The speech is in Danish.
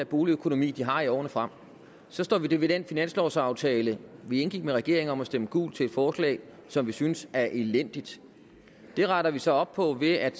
boligøkonomi de har i årene frem så står vi ved den finanslovsaftale vi indgik med regeringen om at stemme gult til et forslag som vi synes er elendigt det retter vi så op på ved at